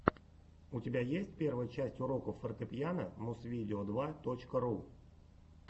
у тебя есть первая часть уроков фортепиано музвидео два точка ру